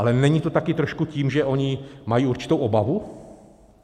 Ale není to také trošku tím, že oni mají určitou obavu?